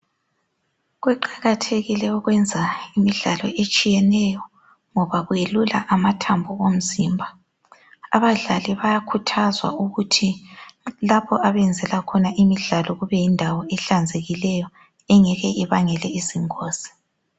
Kuqakathekile ukwenza imidlalo etshiyeneyo ngoba kuyelula amathambo omzimba .Abadlali bayakhuthazwa ukuthi lapho abadlalela khona kumele kube yindawo ehlanzekileyo engeke ibangele izingozi.